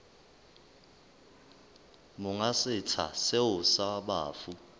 monga setsha seo sa bafu